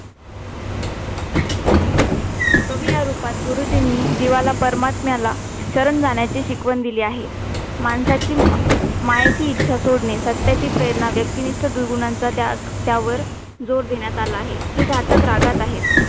कवि या रूपात गुरुजींनी जीवाला पारमात्म्याला शरण जाण्याची शिकवण दिली आहे मायेची इच्छा सोडणे सत्याची प्रेरणा व्यक्तिनिष्ठ दुर्गुणांचा त्याग त्यावर जोर देण्यात आला आहे हे घटक रागात आहे